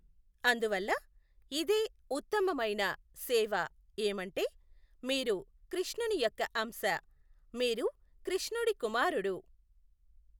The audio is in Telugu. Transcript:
అందువల్ల ఇదే ఉత్తమమైన సేవ ఏమంటే, మీరు కృష్ణుని యొక్క అంశ, మీరు కృష్ణుడి కుమారుడు.